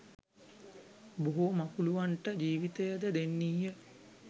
බොහෝ මකුලූවන්ට ජීවිතයද දෙන්නීය